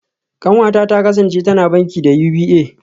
Kanwata ta kasance tana banki da UBA